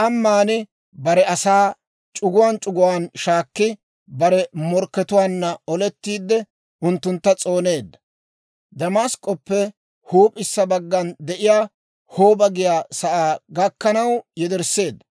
K'amman bare asaa c'uguwaan c'uguwaan shaakki, bare morkkatuwaanna olettiide unttuntta s'ooneedda. Demask'k'oppe huup'issa baggana de'iyaa Hooba giyaa sa'aa gakkanaw yedersseedda.